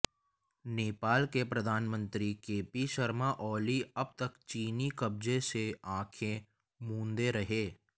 नेपाल के प्रधानमंत्री केपी शर्मा ओली अब तक चीनी कब्जे से आंखें मूंदे रहे